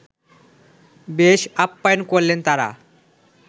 বেশ আপ্যায়ন করলেন তাঁরা